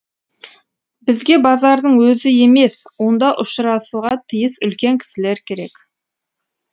бізге базардың өзі емес онда ұшырасуға тиіс үлкен кісілер керек